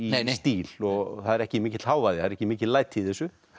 stíl og það er ekki mikill hávaði ekki mikil læti í þessu